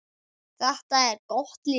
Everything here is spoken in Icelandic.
Þetta er gott lið.